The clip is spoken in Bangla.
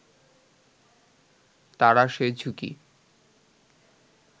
তারা সে ঝুঁকি